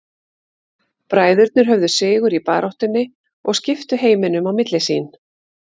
Bræðurnir höfðu sigur í baráttunni og skiptu heiminum á milli sín.